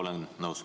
Jah, olen nõus.